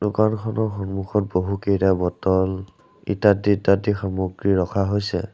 ঘৰখনৰ সন্মুখত বহুকেইটা বটল ইত্যাদি ইত্যাদি সামগ্ৰী ৰখা হৈছে।